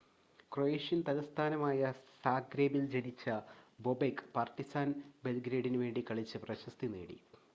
Croatian തലസ്ഥാനമായ സാഗ്രെബിൽ ജനിച്ച ബൊബെക് പാർട്ടിസാൻ ബെൽഗ്രേഡിനു വേണ്ടി കളിച്ച് പ്രശസ്തി നേടി